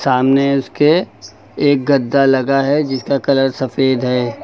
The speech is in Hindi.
सामने उसके एक गद्दा लगा है जिसका कलर सफेद है।